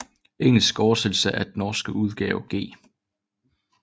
Engelsk oversættelse af den norske udgave G